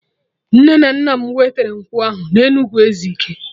Nne na nna m wetere nkwụ ahụ na Enugwu Ezike